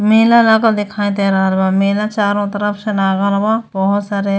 मेला लागल दिखाई दे रहल बा मेला चारो तरफ से लागल बा बहुत सारे --